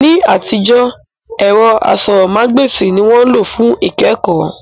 Ní àtijọ́, ẹ̀rọ asọ̀rọ̀mágb'èsì ni wọ́n lò fún ìkẹ́kọ̀ọ́